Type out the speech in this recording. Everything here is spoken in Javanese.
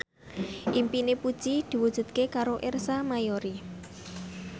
impine Puji diwujudke karo Ersa Mayori